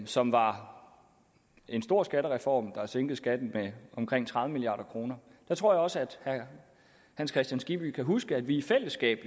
som var en stor skattereform der sænkede skatten med omkring tredive milliard kroner jeg tror også at herre hans kristian skibby kan huske at vi i fællesskab